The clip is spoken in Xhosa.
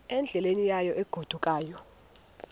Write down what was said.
endleleni yayo egodukayo